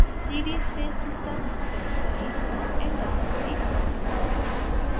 cd space system type करें और enter दबाएँ